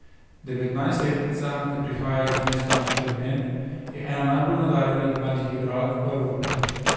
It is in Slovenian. Devetnajstletnica, ki prihaja iz mesta Pleven, je ena najbolj nadarjenih mladih igralk v Evropi.